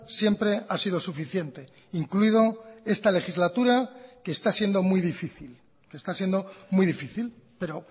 siempre ha sido suficiente incluido esta legislatura que está siendo muy difícil está siendo muy difícil pero